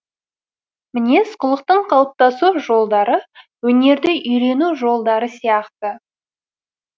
мінез кұлықтың қалыптасу жолдары өнерді үйрену жолдары сияқты